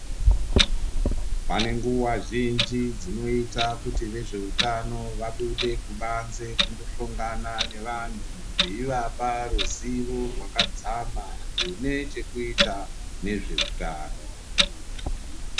Pane nguva zhinji dzinoita kuti vezveutano vabude kubanze kundohlongana nevantu. Veivapa ruzivo rwakadzama hune chekuita nezvehutano.